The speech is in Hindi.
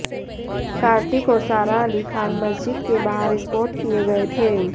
कार्तिक और सारा अली खान मस्जिद के बाहर स्पॉट किए गए थे